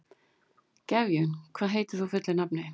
Gefjun, hvað heitir þú fullu nafni?